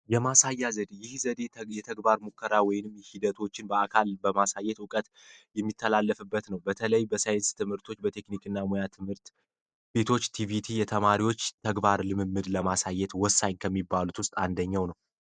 የማሳያ ዘዴ፦ ይህ ዘዴ የተግባር ሙከራዊ ሂደቶችን በአካል በማሳየት እውቀት የሚተላለፍበት ነው። በተለይ በሳይንስ ትምህርቶች፣ በሙያ ትምህርት ቤቶች፣ ቲቪቲ ተማሪዎች ተግባር ለማሳየት ወሳኝ ከሚባሉት ውስጥ አንደኛው ነው።